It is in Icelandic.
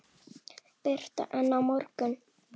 Birta: En á morgun?